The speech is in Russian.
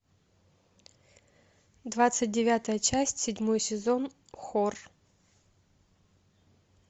двадцать девятая часть седьмой сезон хор